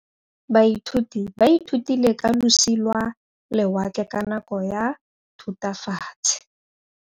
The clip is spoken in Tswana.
Baithuti ba ithutile ka losi lwa lewatle ka nako ya Thutafatshe.